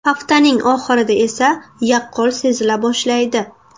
Haftaning oxirida esa yaqqol sezila boshlaydi.